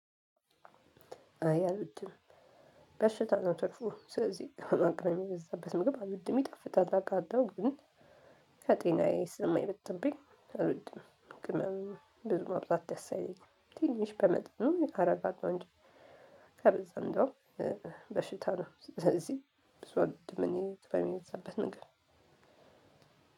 አይ አልውድም። በሽታ ነው ትርፉ። ስለዚህ አቅራሚ የበዛበት ምግብ አልውድም። ይጣፍጣል አውቃለሁ ግን ከጤናዬ ስለማይበትብኝ አልብድም። ብዙ ማብዛት ደስ አይለኝም። ትንሽ በመጠኑ አርገን ነው እንጂ ከበዛ እንደው በሽታ ነው። ስለዚህ ብዚ አልወድም እኔ ቅመም የበዛበት ምግብ።